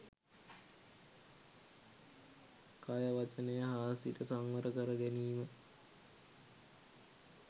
කය වචනය හා සිත සංවර කරගැනීම